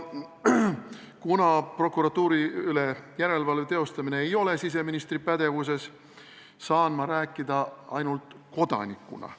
Kuna prokuratuuri üle järelevalve teostamine ei ole siseministri pädevuses, saan ma rääkida ainult kodanikuna.